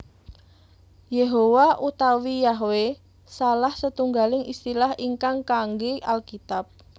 Yehowa utawi Yahwe salah setunggaling istilah ingkang kaanggé Alkitab